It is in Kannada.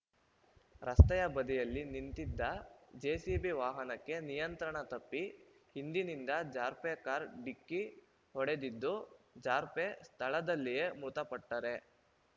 ರಸ್ತೆಯ ಬದಿಯಲ್ಲಿ ನಿಂತಿದ್ದ ಜೆಸಿಬಿ ವಾಹನಕ್ಕೆ ನಿಯಂತ್ರಣ ತಪ್ಪಿ ಹಿಂದಿನಿಂದ ಜಾರ್ಪೆ ಕಾರ್‌ ಢಿಕ್ಕಿ ಹೊಡೆದಿದ್ದು ಜಾರ್ಪೆ ಸ್ಥಳದಲ್ಲಿಯೆ ಮೃತಪಟ್ಟರೆ